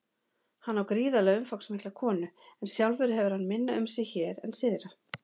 Hann á gríðarlega umfangsmikla konu en sjálfur hefur hann minna um sig hér en syðra.